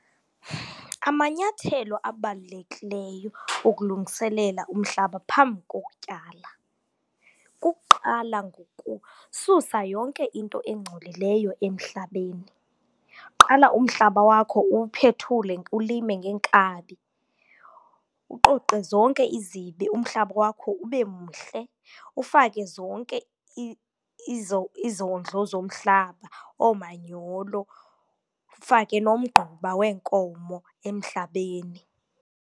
Amanyathelo abalulekileyo okulungiselela umhlaba phambi kokutyala kukuqala ngokususa yonke into engcolileyo emhlabeni. Qala umhlaba wakho uwuphethule ulime ngeenkabi, uqoqe zonke izibi umhlaba wakho ube mhle. Ufake zonke izondlo zomhlaba, oomanyolo, ufake nomgquba weenkomo emhlabeni.